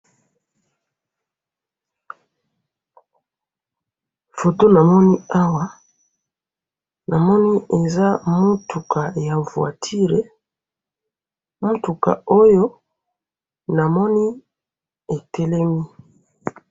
Photo namoni awa ,namoni eza mutuka ya voiture ,mutuka oyo namoni etelemi